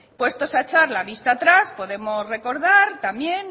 puestos a echar la vista atrás podemos recordar también